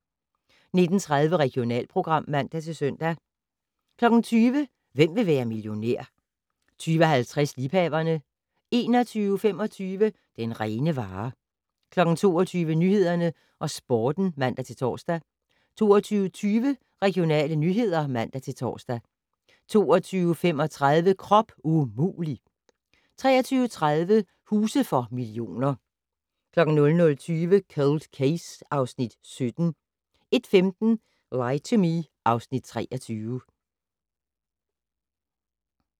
19:30: Regionalprogram (man-søn) 20:00: Hvem vil være millionær 20:50: Liebhaverne 21:25: Den rene vare 22:00: Nyhederne og Sporten (man-tor) 22:20: Regionale nyheder (man-tor) 22:35: Krop umulig! 23:30: Huse for millioner 00:20: Cold Case (Afs. 17) 01:15: Lie to Me (Afs. 23)